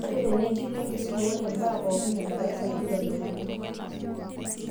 Ore tenigilu enkisuma, oree mbaa pookin inadarasa neitodoluni.